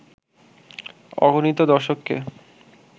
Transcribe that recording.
অগণিত দর্শককে